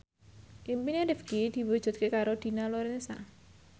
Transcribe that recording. impine Rifqi diwujudke karo Dina Lorenza